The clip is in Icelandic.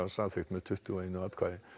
samþykkt með tuttugu og eitt atkvæði